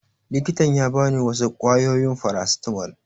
Likitan ya ba ni wasu ƙwayoyin farasitamol